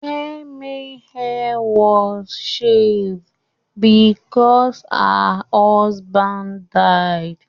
Kẹ́mi's hair was shaved because her husband died.